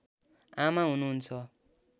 आमा हुनुहुन्छ